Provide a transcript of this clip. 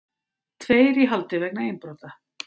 Tveir í haldi vegna innbrota